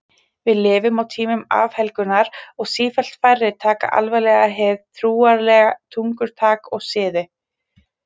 Við lifum á tímum afhelgunar og sífellt færri taka alvarlega hið trúarlega tungutak og siði.